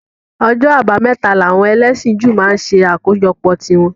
Ọjọ́ abámẹ́ta làwọn ẹlẹ́sìn Júù máa ń ṣe àkójọpọ̀ tí wọn